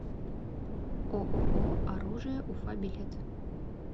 ооо оружие уфа билет